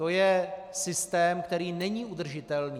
To je systém, který není udržitelný.